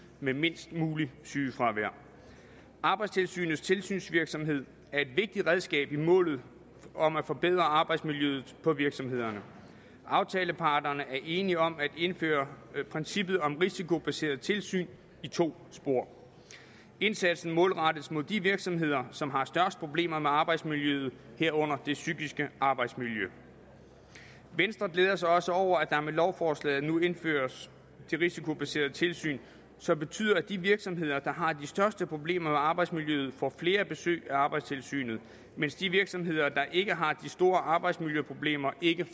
med mindst muligt sygefravær arbejdstilsynets tilsynsvirksomhed er et vigtigt redskab i målet om at forbedre arbejdsmiljøet på virksomhederne aftaleparterne er enige om at indføre princippet om risikobaserede tilsyn i to spor indsatsen målrettes mod de virksomheder som har størst problemer med arbejdsmiljøet herunder det psykiske arbejdsmiljø venstre glæder sig også over at der med lovforslaget nu indføres det risikobaserede tilsyn som betyder at de virksomheder der har de største problemer med arbejdsmiljøet får flere besøg af arbejdstilsynet mens de virksomheder der ikke har de store arbejdsmiljøproblemer ikke